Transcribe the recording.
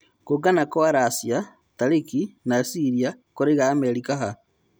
Kũũngana kwa Racia, Tariki na cĩria kũraiga Amerika ha?